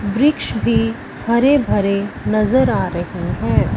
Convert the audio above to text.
वृक्ष भी हरे भरे नजर आ रहे हैं।